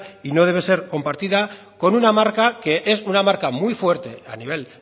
y no debe ser compartida con una marca que es una marca muy fuerte a nivel